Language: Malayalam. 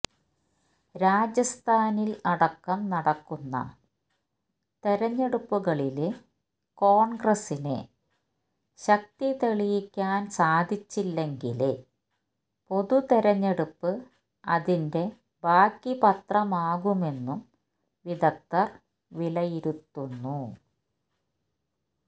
രാജസ്ഥാനില് അടക്കം നടക്കുന്ന തെരഞ്ഞെടുപ്പുകളില് കോണ്ഗ്രസിന് ശക്തി തെളിയിക്കാന് സാധിച്ചില്ലെങ്കില് പൊതുതെരഞ്ഞെടുപ്പ് അതിന്റെ ബാക്കിപത്രമാകുമെന്നും വിദഗ്ധര് വിലയിരുത്തുന്നു